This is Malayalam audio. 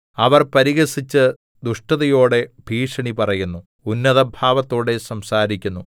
അവർ പരിഹസിച്ച് ദുഷ്ടതയോടെ ഭീഷണി പറയുന്നു ഉന്നതഭാവത്തോടെ സംസാരിക്കുന്നു